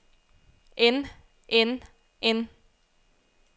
end end end